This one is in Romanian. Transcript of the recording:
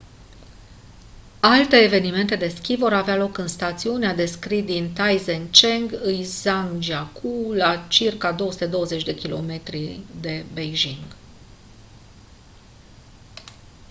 alte evenimente de schi vor avea loc în stațiunea de schi din taizicheng în zhangjiakou la circa 220 km 140 mile de beijing